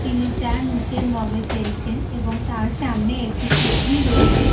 তিনি চা নিচের মগ -এ ফেলছেন এবং তার সামনে একটি কেটলি রয়েছে।